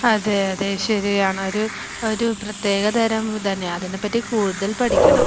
അതെ അതെ ശരിയാണ് ഒരു ഒരു പ്രത്യേകതരം ഇതുതന്നെയാണ് അതിനെപ്പറ്റി കൂടുതൽ പഠിക്കണം